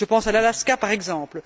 Je pense à l'Alaska, par exemple.